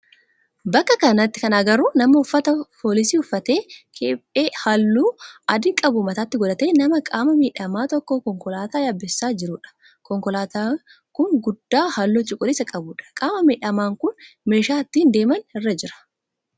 Bakka kanatti kan agarru nama uffata foolisii uffatee, kephee halluu adii qabu mataatti godhatee nama qaama miidhamaa tokko konkolaataa yaabsisaa jiruudha. Konkolaataan kun guddaa halluu cuquliisaa qabudha. Qaama miidhamaan kun meeshaa ittiin deeman irra jira.